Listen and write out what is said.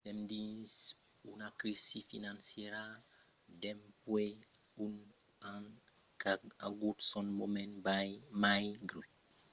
sèm dins una crisi financièra dempuèi un an qu'a agut son moment mai grèu dins los darrièrs dos meses e pensi qu’ara los mercats financièrs començan a recuperar.